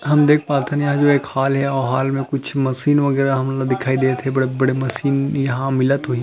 हम देख पातन यहाँ जो है एक हॉल है ये हॉल में कुछ मशीन वगैरह हमन ल दिखाई देत है बड़े- बड़े मशीन यहाँ मिलत होही --